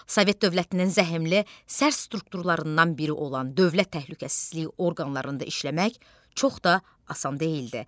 Sovet dövlətinin zəhmli, sərt strukturlarından biri olan Dövlət Təhlükəsizlik orqanlarında işləmək çox da asan deyildi.